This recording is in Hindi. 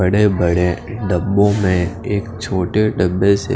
बड़े बड़े डबो में एक छोटे डबे से--